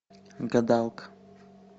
гадалка